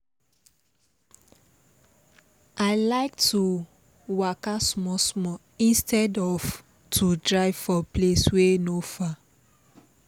i like to waka small small instead of to drive for place wey no far